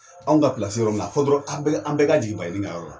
Anw ka pilasi ye yɔrɔ min na a fɔ dɔrɔn an bɛle an bɛɛ ka jigi baɲini ka yɔrɔ la